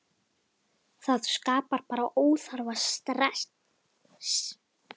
Það skapar bara óþarfa stress.